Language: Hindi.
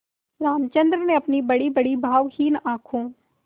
रामचंद्र ने अपनी बड़ीबड़ी भावहीन आँखों